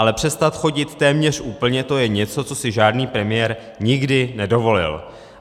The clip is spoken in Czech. Ale přestat chodit téměř úplně, to je něco, co si žádný premiér nikdy nedovolil.